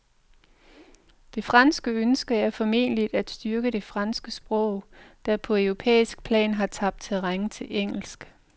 Det franske ønske er formentlig at styrke det franske sprog, der på europæisk plan har tabt terræn til engelsk.